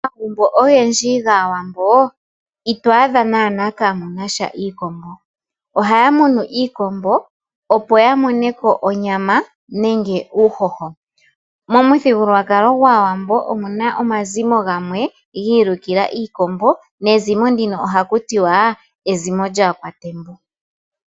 Omagumbo ogendji gAawambo ito adha naana kamu nasha iikombo. Ohaya munu iikombo opo ya moneko onyama nenge uuhoho. Momuthigululwakalo gwAawambo omuna omazimo gamwe gi ilukila iikombo nezimo ndino ohaku tiwa ezimo lyAakwatembu.